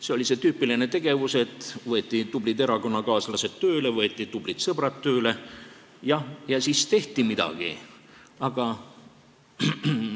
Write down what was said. See oli see tüüpiline tegevus, et võeti tublid erakonnakaaslased ja sõbrad tööle ja siis tehti midagi, aga ...